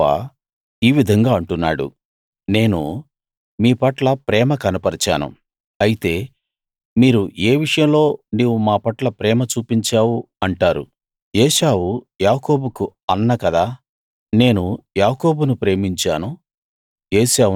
యెహోవా ఈ విధంగా అంటున్నాడు నేను మీ పట్ల ప్రేమ కనపరిచాను అయితే మీరు ఏ విషయంలో నీవు మా పట్ల ప్రేమ చూపించావు అంటారు ఏశావు యాకోబుకు అన్న కదా నేను యాకోబును ప్రేమించాను